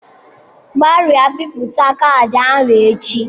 Gbarịa bipụta caadi ahụ echi!